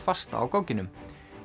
fasta á gogginum